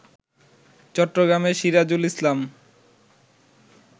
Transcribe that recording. চট্টগ্রামের সিরাজুল ইসলাম